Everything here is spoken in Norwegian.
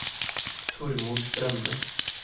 Tormod Strømme